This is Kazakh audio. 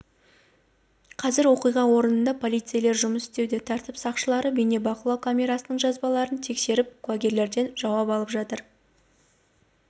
қазір оқиға орнында полицейлер жұмыс істеуде тәртіп сақшылары бейнебақылау камерасының жазбаларын тексеріп куәгерлерден жауап алып жатыр